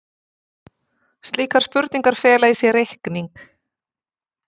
Slíkar spurningar fela í sér reikning.